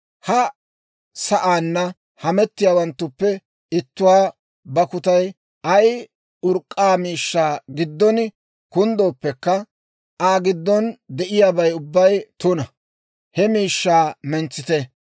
Ha sa'aanna hamettiyaawanttuppe ittuwaa bakkutay ay urk'k'a miishshaa giddon kunddooppekka, Aa giddon de'iyaabay ubbay tuna; he miishshaa mentsite.